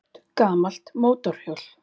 Stórt gamalt mótorhjól